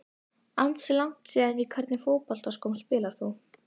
Ansi langt síðan Í hvernig fótboltaskóm spilar þú?